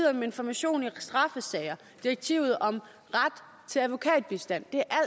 om information i straffesager direktivet om ret til advokatbistand